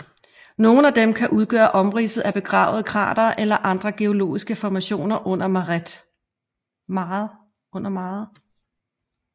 Nogle af dem kan udgøre omridset af begravede kratere eller andre geologiske formationer under maret